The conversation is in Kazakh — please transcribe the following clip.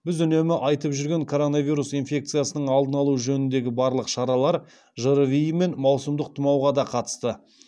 біз үнемі айтып жүрген коронавирус инфекциясының алдын алу жөніндегі барлық шаралар жрви мен маусымдық тұмауға да қатысты